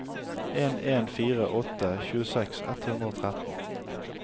en en fire åtte tjueseks ett hundre og tretten